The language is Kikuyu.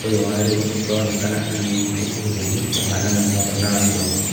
Ũyũ wa rĩu ũronekana hanini gũkũhĩrĩria kũhana na Ronaldo